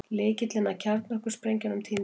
Lykillinn að kjarnorkusprengjunum týndist